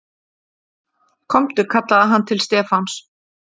Komdu kallaði hann til Stefáns.